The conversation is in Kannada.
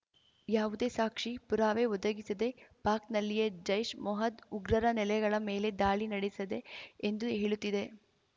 ಯಾವುದೇ ಸಾಕ್ಷಿ ಪುರಾವೆ ಒದಗಿಸದೆ ಪಾಕ್‌ನಲ್ಲಿಯೇ ಜೈಷ್ ಮೊಹದ್ ಉಗ್ರರ ನೆಲೆಗಳ ಮೇಲೆ ದಾಳಿ ನಡೆಸದೆ ಎಂದು ಹೇಳುತ್ತಿದೆ